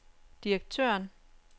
direktøren